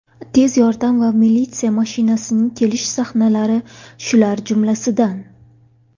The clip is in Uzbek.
Tez yordam va militsiya mashinasining kelish sahnalari shular jumlasidan.